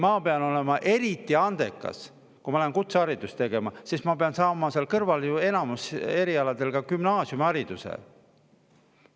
Ma pean olema eriti andekas, kui ma lähen kutseharidust, sest ma pean seal kõrval enamikul erialadel ka gümnaasiumihariduse saama.